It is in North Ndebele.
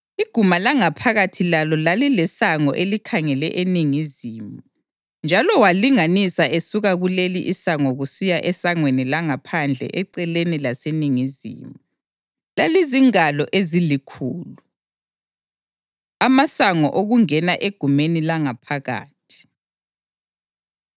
Iguma langaphakathi lalo lalilesango elikhangele eningizimu, njalo walinganisa esuka kuleli isango kusiya esangweni langaphandle eceleni laseningizimu; lalizingalo ezilikhulu. Amasango Okungena Egumeni Langaphakathi